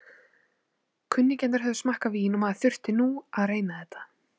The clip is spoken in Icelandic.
Kunningjarnir höfðu smakkað vín og maður þurfti nú að reyna þetta.